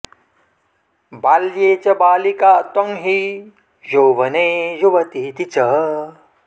बाल्ये च बालिका त्वं हि यौवने युवतीति च